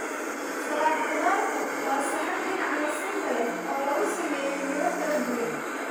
Salad khudaartu waa saxan dhinaca nasinta leh oo lagu sameeyay midho kala duwan.